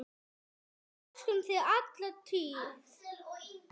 Við elskum þig alla tíð.